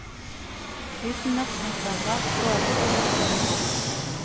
Uten norskkunnskaper går det ikke, mener hun.